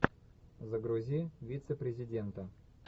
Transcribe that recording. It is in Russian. загрузи вице президента